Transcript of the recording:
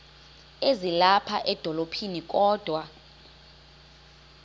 ezilapha edolophini kodwa